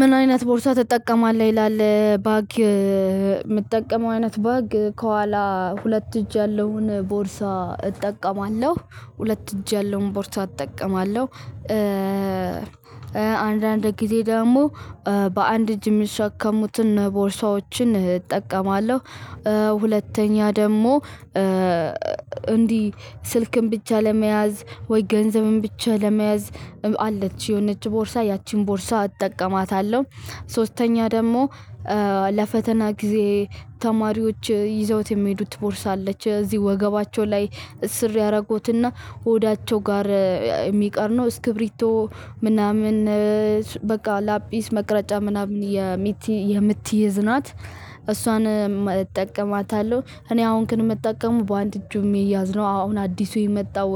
ምን አይነት ቦርሳ ትጠቀማለህ ይላል? ባግ የምትጠቀመው አይነት ባግ ከኋላ ሁለት እጅ ያለውን ቦርሳ እጠቀማለሁ ሁለት እጅ ያለውን ቦርሳ እጠቀማለሁ። አንዳንድ ጊዜ ደግሞ በአንድ እጅ የሚሸከሙትን ቦርሳዎችን እጠቀማለሁ። ሁለተኛ ደግሞ እንዲህ ስልክን ብቻ ለመያዝ ወይ ገንዘብን ብቻ ለመያዝ አለች የሆነች ቦርሳ ያቺን ቦርሳ አጠቀማታለሁ። ሶስተኛ ደግሞ ለፈተና ጊዜ ተማሪዎች ይዘውት የሚሄዱት ቦርሳ አለች እዚህ ወገባቸው ላይ እስር ያደረጉትና ሆዳቸው ጋር የሚቀር ነው እስክብሪቶ ምናምን በቃ ላጲስ መቅረጫ ምናምን የምትይዝ ናት እሷን እጠቀማታለሁ። እኔ አሁን ከምትጠቀሙ በአንድ እጁ የሚያዝ ነው። አሁን አዲሱ የመጣው